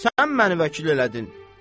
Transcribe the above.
Sən məni vəkil elədin.